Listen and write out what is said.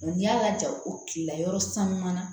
n'i y'a lajɔ ko kilela yɔrɔ sanu na